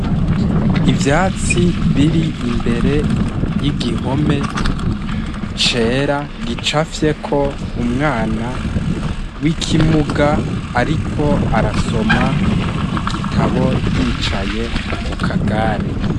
Ivyatsi biri imbere y'igihome cera gicapfye ko umwana w'ikimuga ariko arasoma igitabo yicaye mu kagare.